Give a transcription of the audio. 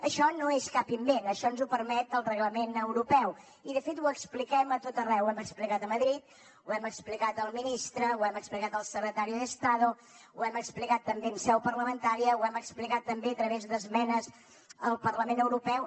això no és cap invent això ens ho permet el reglament europeu i de fet ho expliquem a tot arreu ho hem explicat a madrid ho hem explicat al ministre ho hem explicat al secretario de estado ho hem explicat també en seu parlamentària ho hem explicat també a través d’esmenes al parlament europeu